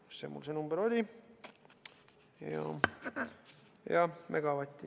Kus mul see number oli?